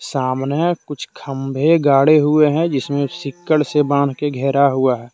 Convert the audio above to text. तामने कुछ खंभे गाढ़े हुए हैं जिसमें सीकड़ से बांध के घेरा हुआ है।